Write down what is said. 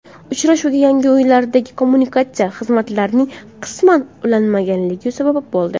Uchrashuvga yangi uylardagi kommunikatsiya xizmatlarining qisman ulanmaganligi sabab bo‘ldi.